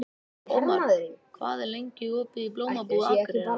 Ómar, hvað er lengi opið í Blómabúð Akureyrar?